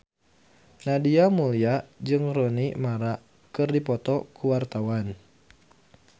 Nadia Mulya jeung Rooney Mara keur dipoto ku wartawan